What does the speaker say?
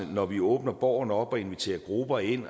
når vi åbner borgen op og inviterer grupper ind